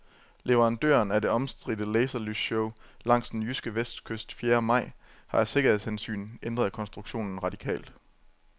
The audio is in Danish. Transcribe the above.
Leverandøren af det omstridte laserlysshow langs den jyske vestkyst fjerde maj har af sikkerhedshensyn ændret konstruktionen radikalt.